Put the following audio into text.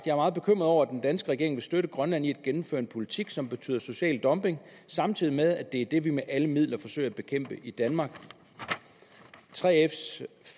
er meget bekymret over at den danske regering vil støtte grønland i at gennemføre en politik som betyder social dumping samtidig med at det er det vi med alle midler forsøger at bekæmpe i danmark 3fs